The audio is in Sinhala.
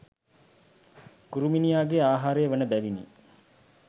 කුරුමිණියාගේ ආහාරය වන බැවිනි.